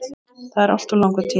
Það er alltof langur tími.